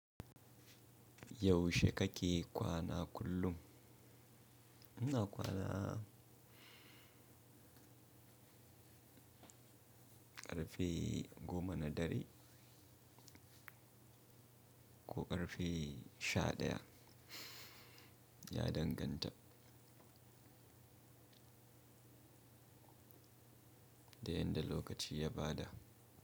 Yaushe kake kwana kullum? Ina kwana ƙarfe goma na dare ko ƙarfe sha ɗaya, ya danganta da yadda lokaci ya ba da.